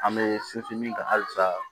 An bɛ sinsin min kan halisa